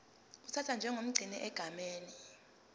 uthathwa njengomgcini egameni